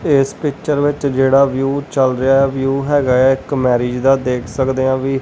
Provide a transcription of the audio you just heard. ਇਸ ਪਿੱਚਰ ਵਿੱਚ ਜਿਹੜਾ ਵਿਊ ਚੱਲ ਰਿਹਾ ਵਿਊ ਹੈਗਾ ਆ ਇੱਕ ਮੈਰਿਜ ਦਾ ਦੇਖ ਸਕਦੇ ਆਂ ਵੀ।